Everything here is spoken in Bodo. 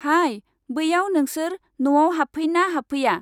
हाइ, बैयाव नोंसोर नआव होफैना होफैया?